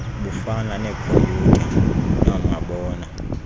bufana neekhomyutha noomabona